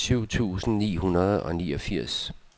syv tusind ni hundrede og niogfirs